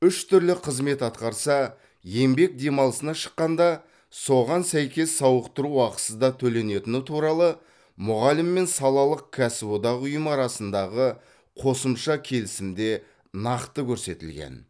үш түрлі қызмет атқарса еңбек демалысына шыққанда соған сәйкес сауықтыру ақысы да төленетіні туралы мұғалім мен салалық кәсіподақ ұйымы арасындағы қосымша келісімде нақты көрсетілген